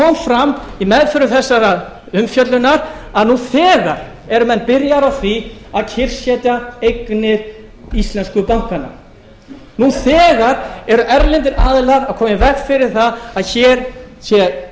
fram í meðförum þessarar umfjöllunar að nú þegar eru menn byrjaðir á því að kyrrsetja eignir íslensku bankanna nú þegar eru erlendir aðilar að koma í veg fyrir það að hér sé